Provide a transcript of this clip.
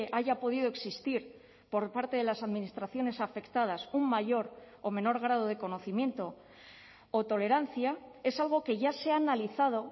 haya podido existir por parte de las administraciones afectadas un mayor o menor grado de conocimiento o tolerancia es algo que ya se ha analizado